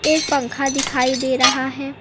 एक पंखा दिखाई दे रहा है।